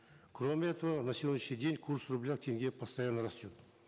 кроме этого на сегодняшний день курс рубля к тенге постоянно растет